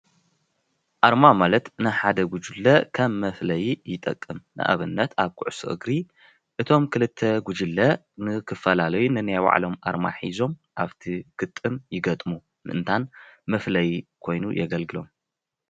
ኣርማ ማለት ናይ ሓደ ጉጅለ ከም መፍለይ ይጠቅም:: ንኣብነት ኣብ ኩዕሾ እግሪ እቶም ክልተ ጉጅለ ንክፈላለዩ ነናይ ባዕሎም ኣርማ ሒዞም ኣብቲ ግጥም ይገጥሙ ምእንታን መፍለይ ኮይኑ የገልግሎም።